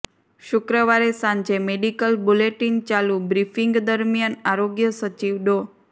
શુક્રવારે સાંજે medical bulletin ચાલુ બ્રિફ્ીંગ દરમિયાન આરોગ્ય સચિવ ડો